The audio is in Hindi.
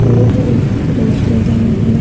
यह एक रेस्टोरेंट है ।